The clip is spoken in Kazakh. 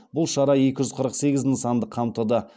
бұл шара екі жүз қырық сегіз нысанды қамтыды